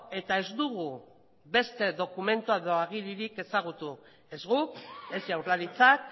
eta ez dugu beste dokumentu edo agiririk ezagutu ez guk ez jaurlaritzak